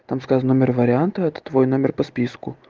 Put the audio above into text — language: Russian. так сказан номер варианта это твой номер по списку